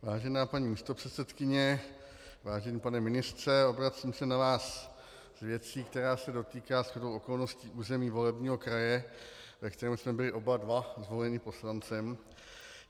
Vážená paní místopředsedkyně, vážený pane ministře, obracím se na vás s věcí, která se dotýká shodou okolností území volebního kraje, ve kterém jsme byli oba dva zvoleni poslancem.